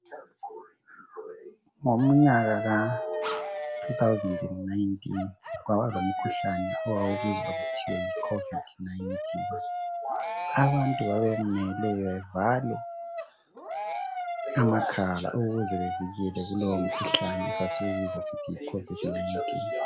Ngomnyaka ka 2019 kwaba lomkhuhlane owawubizwa kuthiwa yi khovidi nayintini. Abantu babemele bevale amakhala ukuze bevikele kulowo mkhuhlane esiwubiza sisithi yi khovidi nayintini.